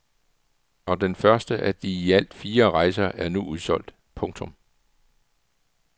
Og den første af de i alt fire rejser er nu udsolgt. punktum